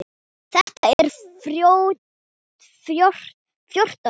Þetta eru fjórtán skip.